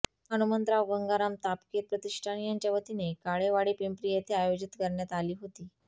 हनुमंतराव गंगाराम तापकीर प्रतिष्ठान यांच्या वतीने काळेवाडी पिंपरी येथे आयोजित करण्यात आली हेाती